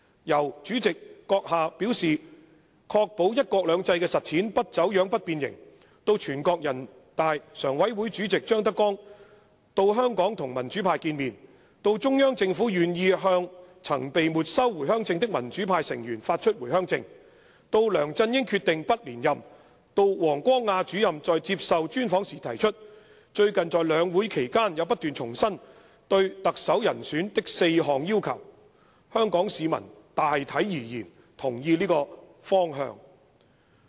由閣下表示'確保"一國兩制"的實踐不走樣、不變形'，到全國人民代表大會常務委員會委員長張德江到香港與民主派見面，到中央政府願意向曾被沒收回鄉證的民主派成員發出回鄉證，到梁振英決定不連任，到王光亞主任在接受專訪時提出，最近在兩會期間也不斷重申對特首人選的4項要求，香港市民大體而言同意這個方向。